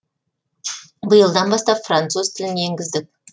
биылдан бастап француз тілін енгіздік